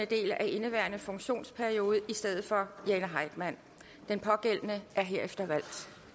del af indeværende funktionsperiode i stedet for jane heitmann den pågældende er herefter valgt